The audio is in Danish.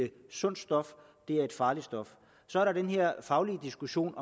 sundt stof det er et farligt stof så er der den her faglige diskussion